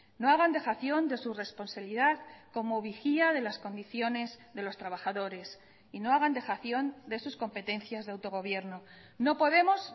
no hagan dejación de su responsabilidad como vigía de las condiciones de los trabajadores y no hagan dejación de sus competencias de autogobierno no podemos